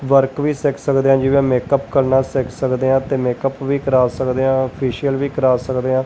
Work ਵੀ ਸਿੱਖ ਸਕਦੇ ਆ ਜਿਵੇਂ ਮੇਕਅਪ ਕਰਨਾ ਸਿੱਖ ਸਕਦੇ ਆ ਤੇ ਮੇਕਅਪ ਵੀ ਕਰਾ ਸਕਦੇ ਆਂ ਫੇਸ਼ੀਅਲ ਵੀ ਕਰਾ ਸਕਦੇ ਆ।